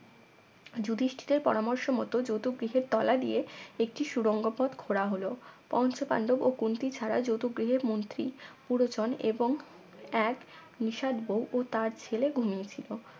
যুধিষ্ঠিরের পরামর্শ মত যুত গৃহের তলা দিয়ে একটি সুরঙ্গ পথ খোড়া হল পঞ্চপান্ডব ও কুন্তি ছাড়া যতু গৃহে মন্ত্রী পুরোজন এবং এক নিশাদ বউ তার ছেলে ঘুমিয়ে ছিল